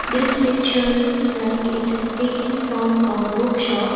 this picture looks like it is taken from a bookshop.